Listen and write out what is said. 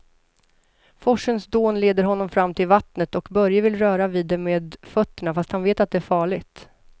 Forsens dån leder honom fram till vattnet och Börje vill röra vid det med fötterna, fast han vet att det är farligt.